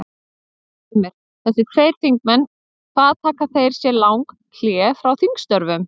Heimir: Þessir tveir þingmenn hvað taka þeir sér lang hlé frá þingstörfum?